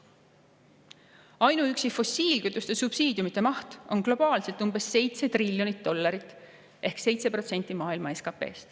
Ainuüksi fossiilkütuste subsiidiumide maht on globaalselt umbes 7 triljonit dollarit ehk 7% maailma SKP-st.